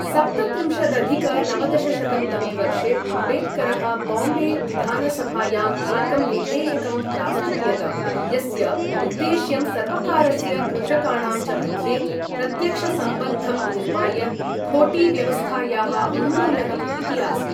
सप्तत्रिंशदधिक नवदशशतं तमे वर्षे अम्बेडकरः बाम्बे विधानसभायाम् एकं विधेयकं प्रास्तूयत, यस्य उद्देश्यं सर्वकारस्य कृषकाणां च मध्ये प्रत्यक्षसम्बन्धं निर्माय खोटीव्यवस्थायाः उन्मूलनम् इति आसीत्।